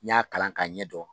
N ɲ'a kalan ka ɲɛdɔn